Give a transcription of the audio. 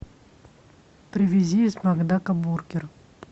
привези из макдака бургер